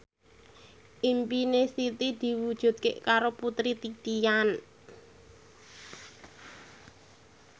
impine Siti diwujudke karo Putri Titian